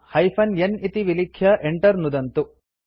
hyphen n इति विलिख्य enter नुदन्तु